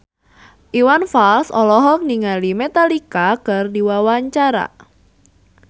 Iwan Fals olohok ningali Metallica keur diwawancara